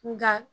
Nga